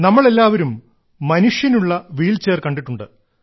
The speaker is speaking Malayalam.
നമ്മൾ എല്ലാവരും മനുഷ്യനുള്ള വീൽചെയർ കണ്ടിട്ടുണ്ട്